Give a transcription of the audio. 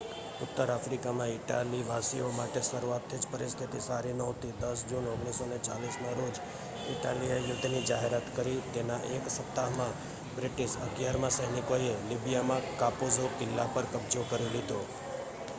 ઉત્તર આફ્રિકામાં ઈટાલીવાસીઓ માટે શરૂઆતથી જ પરિસ્થિતિ સારી નહોતી 10 જૂન 1940ના રોજ ઇટાલીએ યુદ્ધની જાહેરાત કરી તેના એક સપ્તાહમાં બ્રિટિશ 11મા સૈનિકોએ લીબિયામાં કાપુઝો કિલ્લા પર કબજો કરી લીધો